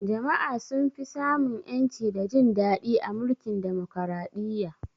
Jama'a sun fi sa mun ƴanci da jin daɗi a mulkin Demokaraɗiyya